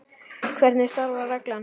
Hvernig starfar reglan?